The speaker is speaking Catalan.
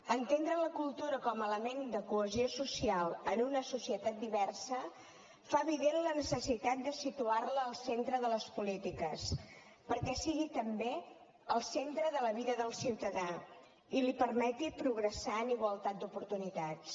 entendre la cultura com a element de cohesió social en una societat diversa fa evident la necessitat de situar la al centre de las polítiques perquè sigui també al centre de la vida del ciutadà i li permeti progressar en igualtat d’oportunitats